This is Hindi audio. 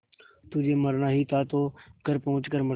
तुझे मरना ही था तो घर पहुँच कर मरता